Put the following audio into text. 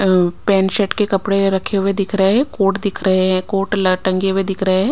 और pant shirt के कपड़े रखे हुए दिख रहे है कोट दिख रहे है कोट टंगे हुए दिख रहे हैं।